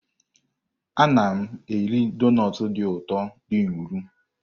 Ana m eri donut dị ụtọ dị nro.